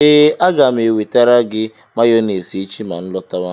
ee, aga m enwetara gị mayonesi echi ma nlọtawa